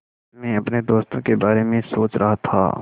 मैं अपने दोस्तों के बारे में सोच रहा था